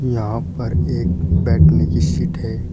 यहाँ पर एक बैठने की सीट है।